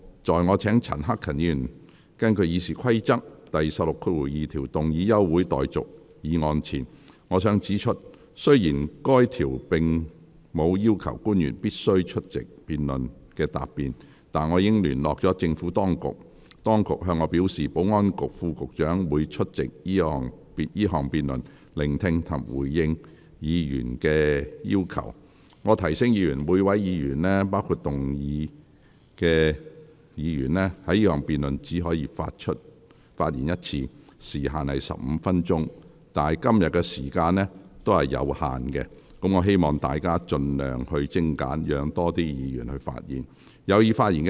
在我請陳克勤議員根據《議事規則》第162條動議休會待續議案前，我想指出，雖然該條並無要求官員必須出席辯論發言答辯，但我已聯絡政府當局，當局向我表示，保安局副局長會出席這項辯論，聆聽及回應議員的意見。我提醒議員，每位議員在這項辯論中，只可發言一次，限時15分鐘，但由於今天時間有限，我希望議員盡量精簡，讓更多議員有機會發言。